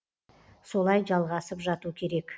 солай жалғасып жату керек